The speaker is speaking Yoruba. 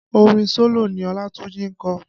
Orin solo ni Olatunji ń kọ